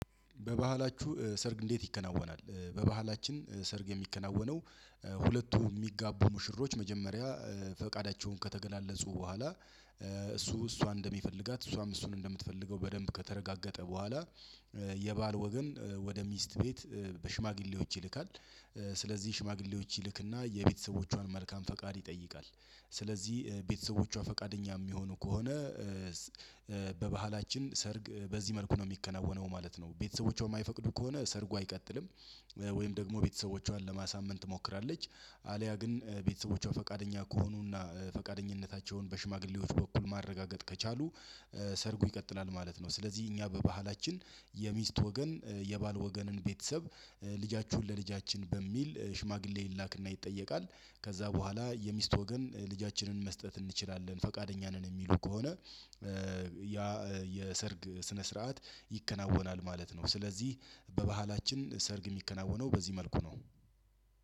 በባህላችሁ ሰርግ እንዴት? ይከናወናል በባህላችን ሰርግ የሚከናወነው። ሁለቱ የሚጋቡ ሙሽሮች መጀመሪያ ፈቃዳቸውን ከተገላለፁ በኋላ። እሱ እሷን እንደሚፈልጋት እሷም እሱን እንደምትፈልገው በደንብ ከተረጋገጠ በኋላ። የባል ወገን ወደ ሚስት ቤት በሽማግሌዎች ይልካል። ስለዚህ ሽማግሌዎች ይልክና የቤተሰቦቿን መልካም ፈቃድ ይጠይቃል። ስለዚህ ቤተሰቦቿ ፈቃደኛ የሚሆኑ ከሆነ። በባህላችን ሰርግ በዚህ መልኩ ነው የሚከናወነው ማለት ነው። ቤተሰቦቿ የማይፈቅዱ ከሆነ ሰርጉ አይቀጥልም። ወይም ደግሞ ቤተሰቦቿን ለማሳመን ትሞክራለች። አልያ ግን ቤተሰቦቿ ፈቃደኛ ከሆኑና ፈቃደኝነታቸውን በሽማግሌዎች በኩል ማረጋገጥ ከቻሉ። ሰርጉ ይቀጥላል ማለት ነው። ስለዚህ እኛ በባህላችን የሚስት ወገን የባል ወገንን ቤተሰብ። ልጃችሁን ለልጃችን በሚል ሽማግሌ ይላክና ይጠየቃል። ከዛ በኋላ የሚስት ወገን ልጃችንን መስጠት እንችላለን ፈቃደኛ ነን የሚሉ ከሆነ። ያ የሰርግ ስነ ስርዓት ይከናወናል ማለት ነው። ስለዚህ በባህላችን ሰርግ የሚከናወነው በዚህ መልኩ ነው።